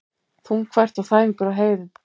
Þungfært og þæfingur á heiðum